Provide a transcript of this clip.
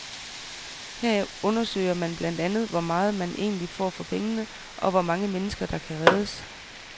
Her undersøger man blandt andet hvor meget, man egentlig får for pengene, og hvor mange mennesker, der kan reddes.